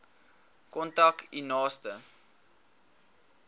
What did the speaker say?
kontak u naaste